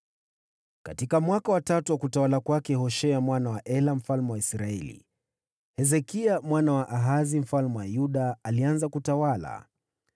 Katika mwaka wa tatu wa utawala wa Hoshea mwana wa Ela mfalme wa Israeli, Hezekia mwana wa Ahazi mfalme wa Yuda alianza kutawala.